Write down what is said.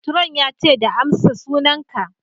Matron ya ce da ''Amsa sunan ka!''